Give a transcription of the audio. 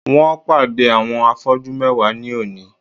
Wón pàdé àwọn afọ́jú mewa ní òní